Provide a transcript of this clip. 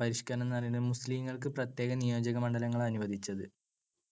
പരിഷ്‌കരണം എന്നുപറയുന്നത് മുസ്ലിങ്ങൾക്ക് പ്രത്യേക നിയോജമണ്ഡലങ്ങൾ അനുവദിച്ചത്